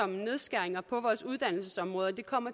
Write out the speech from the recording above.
nedskæringer på vores uddannelsesområde og det kommer